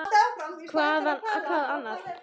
Hvað annað?!